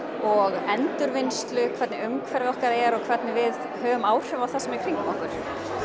og endurvinnslu hvernig umhverfið okkar er og hvernig við höfum áhrif á það sem er í kringum okkur